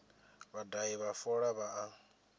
vhadahi vha fola vha a